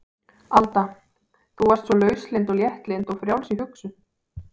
Alda þú varst svo lauslynd og léttlynd og frjáls í hugsun.